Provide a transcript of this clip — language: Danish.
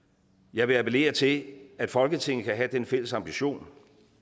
jeg vil appellere til at folketinget kan have den fælles ambition